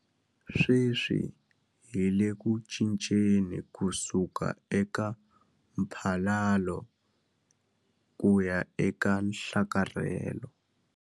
Sweswi hi le ku cinceni ku suka eka mphalalo kuya eka nhlakarhelo.